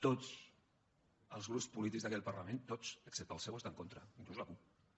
tots els grups polítics d’aquest parlament tots excepte el seu hi estan en contra fins i tot la cup